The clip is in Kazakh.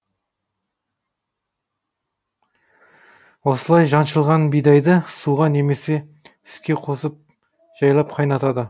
осылай жаншылған бидайды суға немесе сүтке қосып жайлап қайнатады